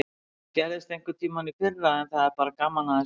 Það gerðist einhverntímann í fyrra en það er bara gaman að þessu.